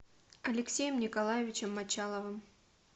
алексеем николаевичем мочаловым